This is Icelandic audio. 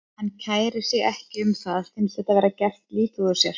Hann kærir sig ekki um það, finnst þá vera gert lítið úr sér.